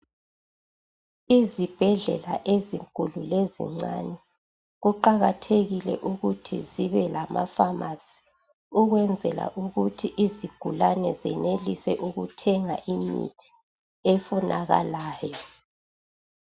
Izibhedlela ezinkulu lezincane kuqakathekile ukuthi zibe lamapharmacy ukwenzela ukuthi izigulane zenelise ukuthenga imithi efunakalayo